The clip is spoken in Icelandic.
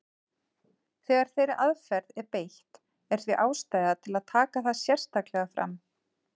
Þegar þeirri aðferð er beitt er því ástæða til að taka það sérstaklega fram.